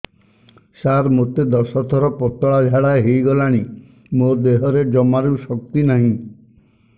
ସାର ମୋତେ ଦଶ ଥର ପତଳା ଝାଡା ହେଇଗଲାଣି ମୋ ଦେହରେ ଜମାରୁ ଶକ୍ତି ନାହିଁ